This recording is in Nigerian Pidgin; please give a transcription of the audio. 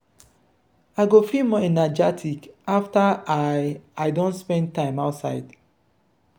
i go feel more energetic afta i i don spend time outside.